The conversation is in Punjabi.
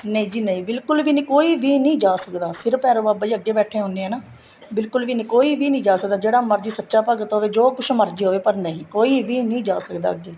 ਨਹੀਂ ਜੀ ਨਹੀਂ ਬਿਲਕੁਲ ਵੀ ਨਹੀਂ ਕੋਈ ਵੀ ਨਹੀਂ ਜਾਂ ਸਕਦਾ ਸਿਰਫ਼ ਭੈਰੋ ਬਾਬਾ ਜੀ ਅੱਗੇ ਬੈਠੇ ਹੁਣੇ ਹੈ ਨਾ ਬਿਲਕੁਲ ਵੀ ਨਹੀਂ ਕੋਈ ਵੀ ਨਹੀਂ ਜਾਂ ਸਕਦਾ ਜਿਹੜਾ ਮਰਜੀ ਸੱਚਾ ਭਗਤ ਹੋਵੇ ਜੋ ਕੁੱਛ ਮਰਜੀ ਹੋਵੇ ਪਰ ਨਹੀਂ ਕੋਈ ਵੀ ਨਹੀਂ ਜਾਂ ਸਕਦਾ ਅੱਗੇ